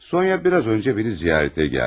Sonya biraz öncə məni ziyarətə gəldi.